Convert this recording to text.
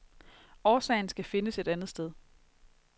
Årsagen skal findes et andet sted.